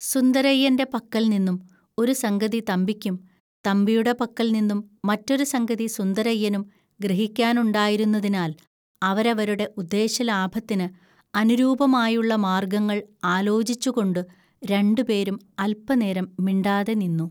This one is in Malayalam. സുന്ദരയ്യന്റെ പക്കൽനിന്നും ഒരു സംഗതി തമ്പിക്കും, തമ്പിയുടെ പക്കൽനിന്നും മറ്റൊരു സംഗതി സുന്ദരയ്യനും ഗ്രഹിക്കാനുണ്ടായിരുന്നതിനാൽ അവരവരുടെ ഉദ്ദേശലാഭത്തിന് അനുരൂപമായുള്ള മാർഗ്ഗങ്ങൾ ആലോചിച്ചുകൊണ്ടു രണ്ടുപേരും അൽപനേരം മിണ്ടാതെ നിന്നു